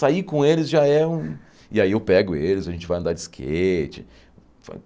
Sair com eles já é um... E aí eu pego eles, a gente vai andar de skate.